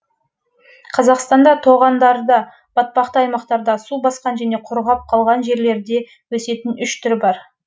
қазақстанда тоғандарда батпақты аймақтарда су басқан және құрғап қалған жерлерде өсетін үш түрі бар